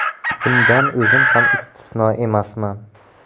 Bundan o‘zim ham istisno emasman.